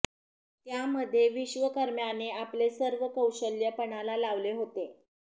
त्यामध्ये विश्वकर्म्याने आपले सर्व कौशल्य पणाला लावले होते